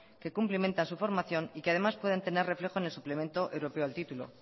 que cumplimenta su formación y que además pueden tener reflejo en el suplemento europeo al título